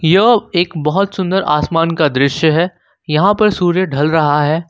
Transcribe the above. एवं एक बहुत सुंदर आसमान का दृश्य है यहां पर सूर्य ढल रहा है।